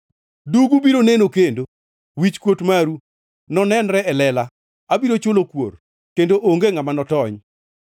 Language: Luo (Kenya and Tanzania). Dugu biro neno kendo wichkuot maru nonenre e lela. Abiro chulo kuor; kendo onge ngʼama notony.